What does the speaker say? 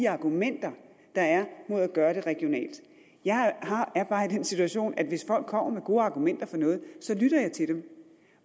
argumenter der er mod at gøre det regionalt jeg er bare i den situation at hvis folk kommer med gode argumenter for noget lytter jeg til dem